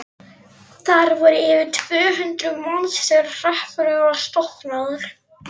Þar voru yfir tvö hundruð manns þegar hreppurinn var stofnaður.